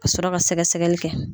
Ka sɔrɔ ka sɛgɛsɛggɛli kɛ.